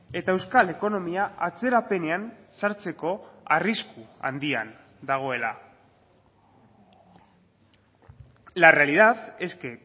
eta euskal ekonomia atzerapenean sartzeko arrisku handian dagoela la realidad es que